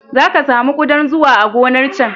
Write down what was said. Za ka sami ƙudan zuwa a gonar can.